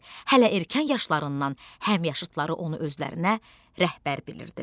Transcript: Hələ erkən yaşlarından həmyaşıdları onu özlərinə rəhbər bilirdilər.